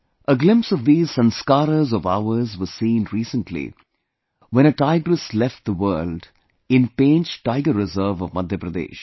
A glimpse of these Sanskaras of ours was seen recently when a tigress left the world in Pench Tiger Reserve of Madhya Pradesh